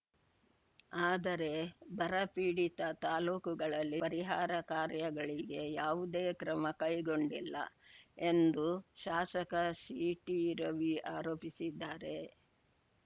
ಆದರೆ ಬರ ಪೀಡಿತ ತಾಲೂಕುಗಳಲ್ಲಿ ಪರಿಹಾರ ಕಾರ್ಯಗಳಿಗೆ ಯಾವುದೇ ಕ್ರಮ ಕೈಗೊಂಡಿಲ್ಲ ಎಂದು ಶಾಸಕ ಸಿಟಿ ರವಿ ಆರೋಪಿಸಿದ್ದಾರೆ